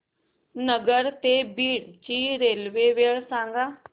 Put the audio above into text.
नगर ते बीड ची रेल्वे वेळ सांगा